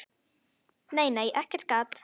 Nei, nei, ekkert gat!